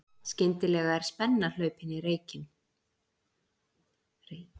Skyndilega er spenna hlaupin í leikinn